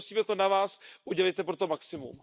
Tedy prosím, je to na vás, udělejte pro to maximum.